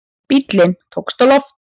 Bíllinn tókst á loft